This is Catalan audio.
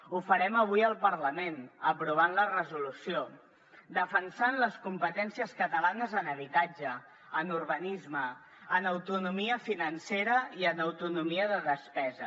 ho farem avui al parlament aprovant la resolució defensant les competències catalanes en habitatge en urbanisme en autonomia financera i en autonomia de despesa